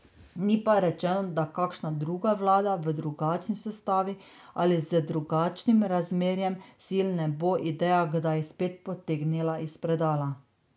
Ni pa rečeno, da kakšna druga vlada v drugačni sestavi ali z drugačnim razmerjem sil ne bo ideje kdaj spet potegnila iz predala.